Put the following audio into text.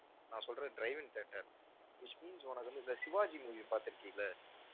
நான் சொல்றது drive in theatre which means உனக்கு வந்து இந்த சிவாஜி movie பாத்திருக்கல்ல,